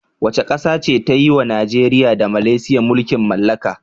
Wace ƙasa ce ta yi wa Najeriya da Malaysia mulkin mallaka.